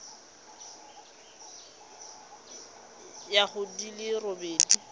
ya go di le robedi